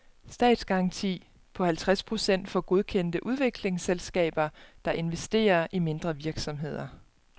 Statsgaranti på halvtreds procent for godkendte udviklingsselskaber, der investerer i mindre virksomheder.